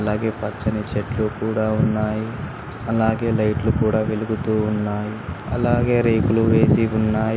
అలాగే పచ్చని చెట్లు కూడా ఉన్నాయి అలాగే లైట్లు కూడా వెలుగుతూ ఉన్నాయి అలాగే రేకులు వేసి ఉన్నాయి.